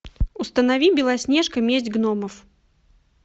установи белоснежка месть гномов